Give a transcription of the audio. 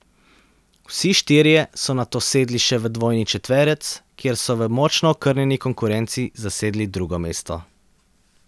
Vsi štirje so nato sedli še v dvojni četverec, kjer so v močno okrnjeni konkurenci zasedli drugo mesto.